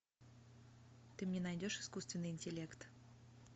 ты мне найдешь искусственный интеллект